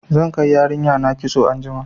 Zan kai yarinya na kitso anjima.